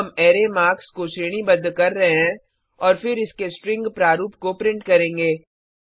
अब हम array marks को श्रेणीबद्ध कर रहे हैं और फिर इसके स्ट्रिंग प्रारूप को प्रिंट करेंगे